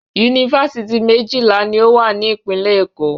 Yunifásitì méjìlà ni ó wà ní ìpínlẹ̀ Èkó.